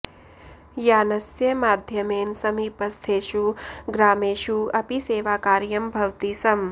यानस्य माध्यमेन समीपस्थेषु ग्रामेषु अपि सेवाकार्यं भवति स्म